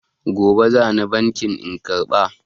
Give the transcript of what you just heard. Gobe za ni bankin in karɓa.